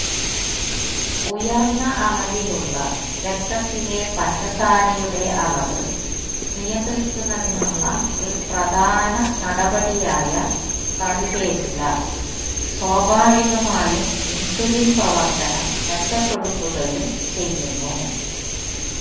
ഉയർന്ന അളവിലുള്ള രക്തത്തിലെ പഞ്ചസാരയുടെ അളവ് നിയന്ത്രിക്കുന്നതിനുള്ള ഒരു പ്രധാന നടപടിയായ കറിവേപ്പില സ്വാഭാവികമായും ഇൻസുലിൻ പ്രവർത്തനം മെച്ചപ്പെടുത്തുകയും ചെയ്യുന്നു